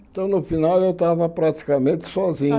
Então, no final, eu estava praticamente sozinho.